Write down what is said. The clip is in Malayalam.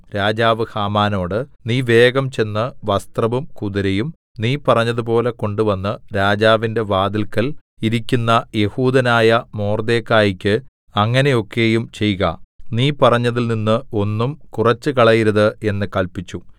രാജാവ് ഹാമാനോട് നീ വേഗം ചെന്ന് വസ്ത്രവും കുതിരയും നീ പറഞ്ഞതുപോലെ കൊണ്ടുവന്ന് രാജാവിന്റെ വാതില്ക്കൽ ഇരിക്കുന്ന യെഹൂദനായ മൊർദെഖായിക്ക് അങ്ങനെയൊക്കെയും ചെയ്ക നീ പറഞ്ഞതിൽ നിന്നും ഒന്നും കുറച്ചുകളയരുത് എന്ന് കല്പിച്ചു